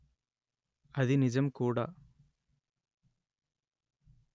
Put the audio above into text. అది నిజం కూడా